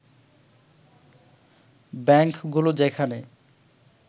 ব্যাংকগুলো যেখানে